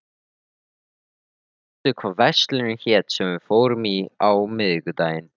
Kiddý, manstu hvað verslunin hét sem við fórum í á miðvikudaginn?